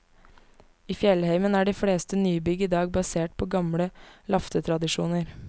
I fjellheimen er de fleste nybygg i dag basert på gamle laftetradisjoner.